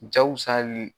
Jakusalu